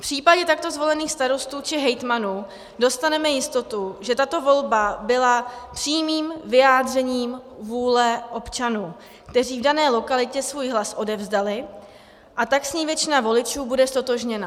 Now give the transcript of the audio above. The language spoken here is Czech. V případě takto zvolených starostů či hejtmanů dostaneme jistotu, že tato volba byla přímým vyjádřením vůle občanů, kteří v dané lokalitě svůj hlas odevzdali, a tak s ní většina voličů bude ztotožněna.